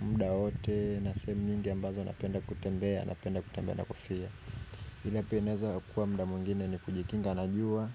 Muda wowote na sehemu nyingi ambazo napenda kutembea, napenda kutembea na kufia. Ila pia inaweza kuwa muda mwingine ni kujikinga na jua.